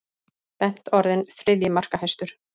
Bent orðinn þriðji markahæstur